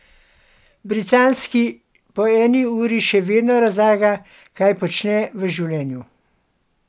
Britanski po eni uri še vedno razlaga, kaj počne v življenju.